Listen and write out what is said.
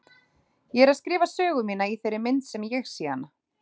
Ég er að skrifa söguna mína í þeirri mynd sem ég sé hana.